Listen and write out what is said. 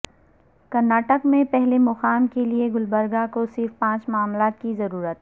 کرناٹک میں پہلے مقام کے لئے گلبرگہ کو صرف پانچ معاملات کی ضرورت